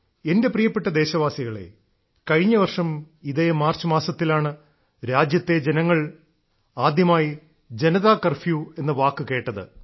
എന്റെ പ്രിയപ്പെട്ട ദേശവാസികളേ കഴിഞ്ഞ വർഷം ഇതേ മാർച്ച് മാസത്തിലാണ് രാജ്യത്തെ ജനങ്ങൾ ആദ്യമായി ജനതാ കർഫ്യൂ എന്ന വാക്ക് കേട്ടത്